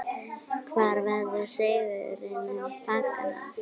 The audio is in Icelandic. Hvar verður sigrinum fagnað?